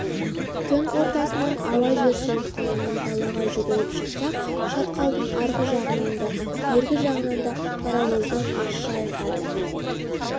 түн ортасынан ауа жер солқылынан далаға жүгіріп шықсақ шатқалдың арғы жағынан да бергі жағынан да паровоздың ащы айқайы